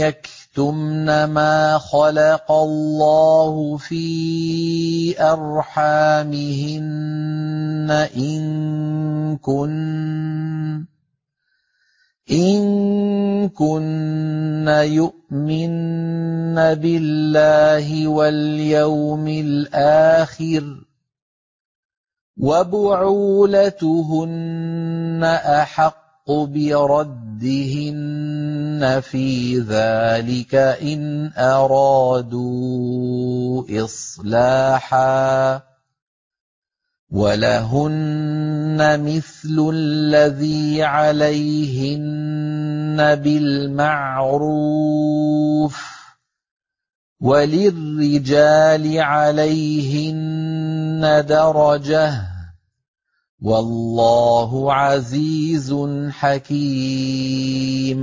يَكْتُمْنَ مَا خَلَقَ اللَّهُ فِي أَرْحَامِهِنَّ إِن كُنَّ يُؤْمِنَّ بِاللَّهِ وَالْيَوْمِ الْآخِرِ ۚ وَبُعُولَتُهُنَّ أَحَقُّ بِرَدِّهِنَّ فِي ذَٰلِكَ إِنْ أَرَادُوا إِصْلَاحًا ۚ وَلَهُنَّ مِثْلُ الَّذِي عَلَيْهِنَّ بِالْمَعْرُوفِ ۚ وَلِلرِّجَالِ عَلَيْهِنَّ دَرَجَةٌ ۗ وَاللَّهُ عَزِيزٌ حَكِيمٌ